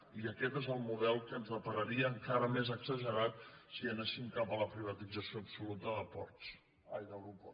i aquest és el model que ens depararia encara més exagerat si anéssim cap a la privatització absoluta d’aeroports